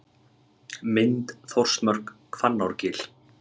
Mynd: Þórsmörk, Hvannárgil.